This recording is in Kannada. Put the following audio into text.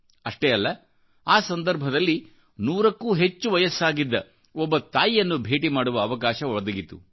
ಅಷ್ಟೇ ಅಲ್ಲ ಆ ಸಂದರ್ಭದಲ್ಲಿ ನೂರಕ್ಕೂ ಹೆಚ್ಚು ವಯಸ್ಸಾಗಿದ್ದ ಒಬ್ಬ ತಾಯಿಯನ್ನು ಭೇಟಿ ಮಾಡುವ ಅವಕಾಶ ಒದಗಿತು